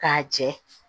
K'a jɛ